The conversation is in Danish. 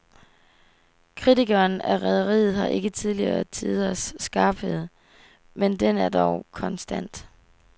Kritikken af rederiet har ikke tidligere tiders skarphed, men den er dog konstant.